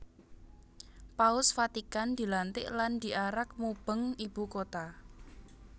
Paus Vatikan dilantik lan diarak mubeng ibu kota